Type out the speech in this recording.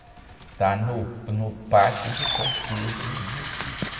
Está no, no pátio de São Pedro, no Recife.